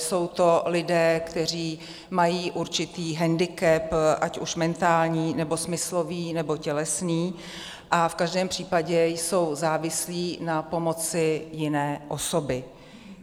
Jsou to lidé, kteří mají určitý hendikep, ať už mentální, nebo smyslový, nebo tělesný, a v každém případě jsou závislí na pomoci jiné osoby.